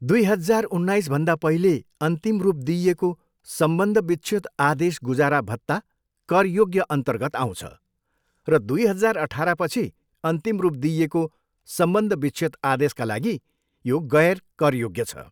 दुई हजार उन्नाइसभन्दा पहिले अन्तिम रूप दिइएको सम्बन्ध विच्छेद आदेश गुजारा भत्ता करयोग्यअन्तर्गत आउँछ र दुई हजार अठाह्रपछि अन्तिम रूप दिइएको सम्बन्ध विच्छेद आदेशका लागि, यो गैर करयोग्य छ।